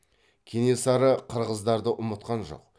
кенесары қырғыздарды ұмытқан жоқ